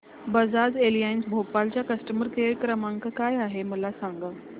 Bajaj Allianz Bhopal चा customer care क्रमांक काय आहे मला सांगा